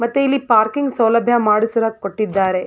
ಮತ್ತೆ ಇಲ್ಲಿ ಪಾರ್ಕಿಂಗ್ ಸೌಲಭ್ಯ ಮಾಡಿಸಲು ಕೊಟ್ಟಿದ್ದಾರೆ.